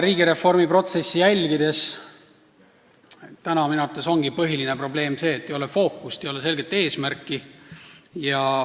Riigireformi protsessi jälginuna võin öelda, et minu arvates ongi põhiline probleem see, et ei ole fookust, ei ole selget eesmärki.